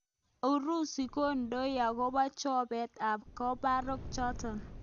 Urusi kondoi akobo chobet ab komborok chotok.